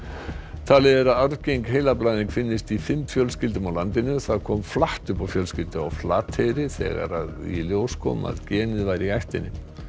talið er að arfgeng heilablæðing finnist í fimm fjölskyldum á landinu það kom flatt upp á fjölskyldu á Flateyri þegar í ljós kom að genið væri í ættinni